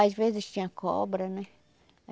Às vezes tinha cobra, né?